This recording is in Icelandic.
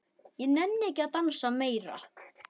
Ég nenni ekki að dansa meira.